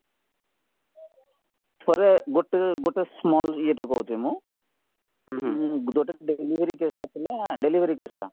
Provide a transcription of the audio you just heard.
ଥରେ ଗୋଟେ ଗୋଟେ small ଇଏଟେ କହୁଛି ମୁଁ ଯୋଉଟାକି delivery caseଟା ଥିଲା delivery caseଟା